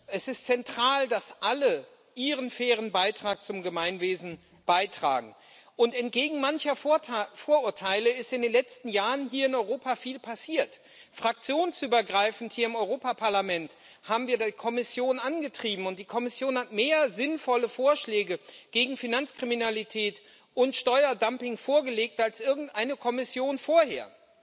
Es ist zentral, dass alle ihren fairen Beitrag zum Gemeinwesen beitragen. Entgegen mancher Vorurteile ist in den letzten Jahren hier in Europa viel passiert. Fraktionsübergreifend hier im Europäischen Parlament haben wir die Kommission angetrieben, und die Kommission hat mehr sinnvolle Vorschläge gegen Finanzkriminalität und Steuerdumping vorgelegt als irgendeine Kommission vorher.